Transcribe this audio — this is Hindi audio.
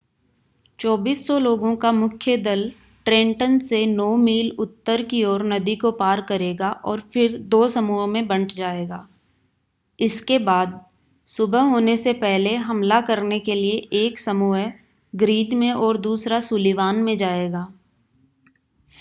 2,400 लोगों का मुख्य दल ट्रेंटन से नौ मील उत्तर की ओर नदी को पार करेगा और फिर दो समूहों में बंट जाएगा इसके बाद सुबह होने से पहले हमला करने के लिए एक समूह ग्रीन में और दूसरा सुलिवान में जाएगा